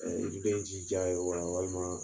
i be jija walima